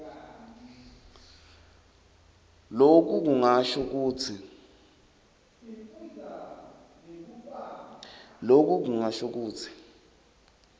loku kungasho kutsi